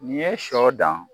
N'i ye sɔ dan